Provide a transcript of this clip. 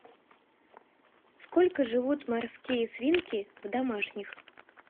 сколько живут морские свинки в домашних